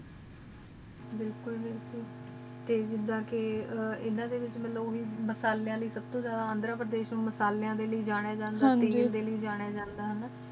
ਇਲ੍ਕੁਲ ਬਿਲਕੁਲ ਟੀ ਗਿਦਾਹ ਕ ਅਨਾਮਸਲੇ ਲੈ ਅੰਦਰ ਲਾਯਾ ਜਾਂਦਾ ਹੈ